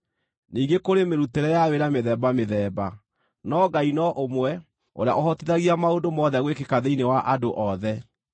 Ningĩ kũrĩ mĩrutĩre ya wĩra mĩthemba mĩthemba, no Ngai no ũmwe ũrĩa ũhotithagia maũndũ mothe gwĩkĩka thĩinĩ wa andũ othe.